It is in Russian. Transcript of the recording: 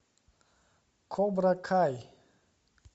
кобра кай